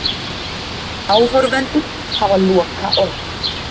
Áhorfendur hafa lokaorðið